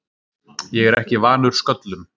Ég er ekki vanur sköllum.